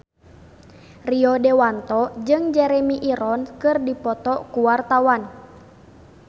Rio Dewanto jeung Jeremy Irons keur dipoto ku wartawan